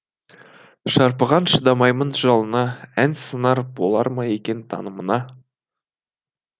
шарпыған шыдамаймын жалыныңа ән сыңар болар ма екен танымыңа